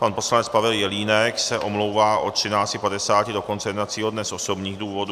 Pan poslanec Pavel Jelínek se omlouvá od 13.50 do konce jednacího dne z osobních důvodů.